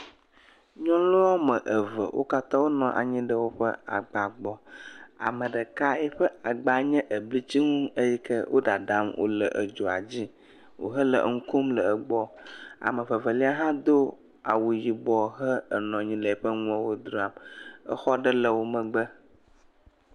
Nyɔnu wɔme eve wo katã wonɔ anyi ɖe woƒe agba gbɔ. Ame ɖeka yiƒe agba nye eblitsimu eyi ke woɖaɖam wo le edzoa dzi wohe le enu kom le egbɔ. Ame vevelia hã do awu yibɔ henɔnyi ɖe eƒe nuawo dram. Exɔ ɖe le wo megbe.